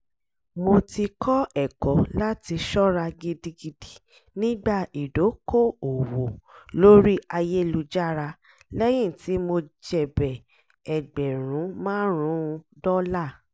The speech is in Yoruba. mo ti kọ́ ẹ̀kọ́ láti ṣọ́ra gidigidi nígbà ìdókò-òwò lórí ayélújára lẹ́yìn tí mo jèbẹ̀ ẹgbẹ̀rún márùn-ún dọ́là